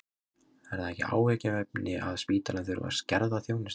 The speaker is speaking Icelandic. Er það ekki áhyggjuefni að spítalinn þurfi að skerða þjónustu?